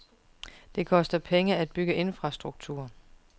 Det koster penge at bygge infrastruktur.